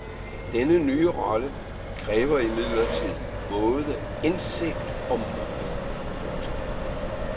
Denne nye rolle kræver imidlertid både indsigt og mod. punktum